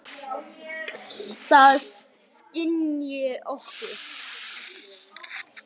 Og það skynji okkur.